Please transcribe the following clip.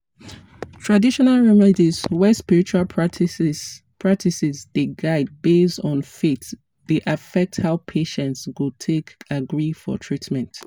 traditional remedies wey spiritual practices practices dey guide based on faith dey affect how patients go take agree for treatment.